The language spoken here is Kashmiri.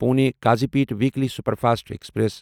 Pune Kazipet weekly superfast express